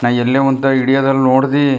ನಾ ಎಲ್ಲೇ ಹೊಂಟಾಗಿ ಹಿಡಿಯೋದ್ ಎಲ್ಲ ನೋಡಿದ್ವಿ.